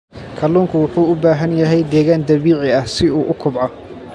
Kalluunku wuxuu u baahan yahay deegaan dabiici ah si uu u kobco.